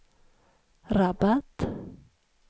Rabat